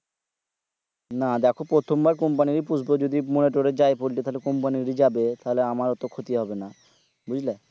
না দ্যাখো প্রথম বার company ইর পুষবো যদি মোর তোরে যাই পোল্টি তাহলে company ইর যাবে তাহলে আমার অটো ক্ষতি হবে না বুজলে